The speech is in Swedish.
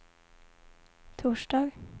torsdag